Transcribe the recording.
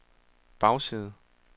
bagside